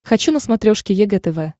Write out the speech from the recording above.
хочу на смотрешке егэ тв